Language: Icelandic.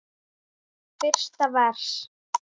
Fyrsta vers.